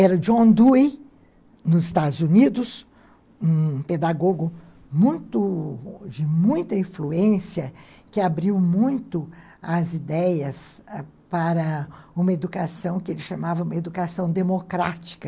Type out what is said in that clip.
Era John Dewey, nos Estados Unidos, um pedagogo muito de muita influência, que abriu muito as ideias, né, para uma educação que ele chamava de educação democrática.